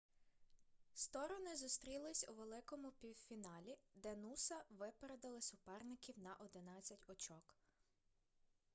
сторони зустрілись у великому півфіналі де нуса випередили суперників на 11 очок